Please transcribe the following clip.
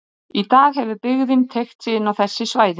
Í dag hefur byggðin teygt sig inn á þessi svæði.